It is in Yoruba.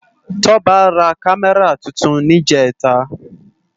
Toba rá Kàmèrá tútún nijètá